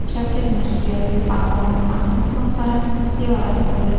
Shavkat Mirziyoyev Pahlavon Mahmud maqbarasini ziyorat qildi.